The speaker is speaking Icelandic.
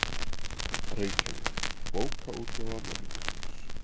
Reykjavík, Bókaútgáfa Menningarsjóðs.